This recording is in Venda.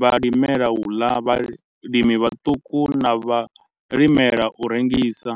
vhalimela u ḽa, vhalimi vhaṱuku na vhalimela u rengisa.